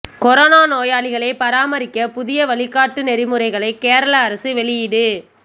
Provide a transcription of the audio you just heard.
corona நோயாளிகளை பராமரிக்க புதிய வழிகாட்டு நெறிமுறைகளை கேரள அரசு வெளியீடு